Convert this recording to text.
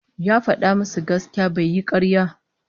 Ya fada musu gaskiya bai yi karya